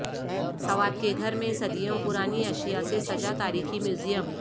سوات کے گھر میں صدیوں پرانی اشیا سے سجا تاریخی میوزیم